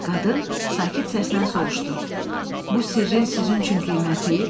Qadın sakit səslə soruşdu: “Bu sirrin sizin üçün qiyməti?”